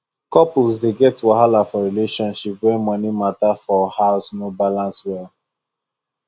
couples dey get wahala for relationship when money matter for house no balance well